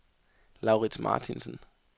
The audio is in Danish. Laurits Martinsen